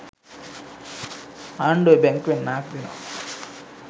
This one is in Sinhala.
ආණ්ඩුවෙ බැංකුවෙන් ණයක් දෙනවා.